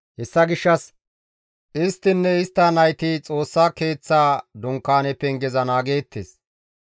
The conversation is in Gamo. Hessa gishshas isttinne istta nayti Xoossa Keeththa dunkaane pengeza naageettes.